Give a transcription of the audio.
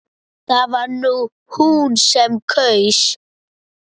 Það var hún sem kaus!